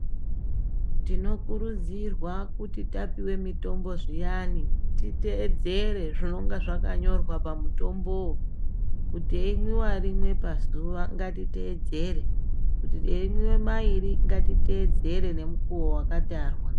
Tinokuridzirwa kuti tapuwa mitombo zviyani titeedzere zvinenge zvakanyorwa pamitombowo. Kuti reimwiwa rimwe pazuwa ngatiteedzere, kuti eimwiwe mairi ngatiteedzere ngemukuwo wakatarwa.